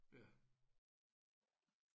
Ja